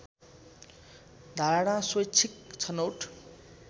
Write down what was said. धारणा स्वैच्छिक छनौट